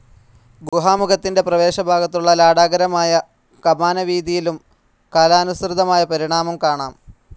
ഗുഹാമുഖത്തിന്റെ പ്രവേശഭാഗത്തുള്ള ലാടാകാരമായ കമാനവീഥിയിലും കാലാനുസൃതമായ പരിണാമം കാണാം.